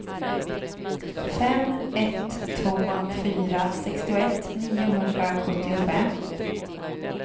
fem ett två fyra sextioett niohundrasjuttiofem